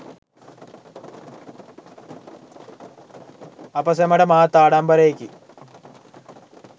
අප සැමට මහත් ආඩම්බරයෙකි.